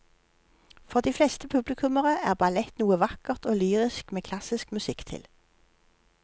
For de fleste publikummere er ballett noe vakkert og lyrisk med klassisk musikk til.